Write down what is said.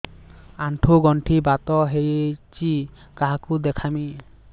ଆଣ୍ଠୁ ଗଣ୍ଠି ବାତ ହେଇଚି କାହାକୁ ଦେଖାମି